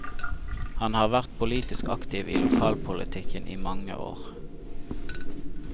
Han har vært politisk aktiv i lokalpolitikken i mange år.